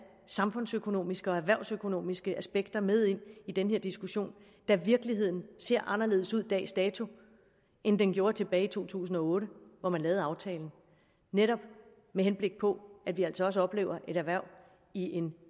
samfundsøkonomiske og erhvervsøkonomiske aspekter med ind i den her diskussion da virkeligheden ser anderledes ud dags dato end den gjorde tilbage i to tusind og otte hvor man lavede aftalen netop med henblik på at vi altså oplever et erhverv i en